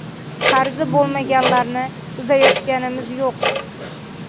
Qarzi bo‘lmaganlarni uzayotganimiz yo‘q.